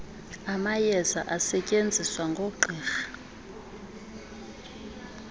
amayeza asetyenziswa ngoogqirha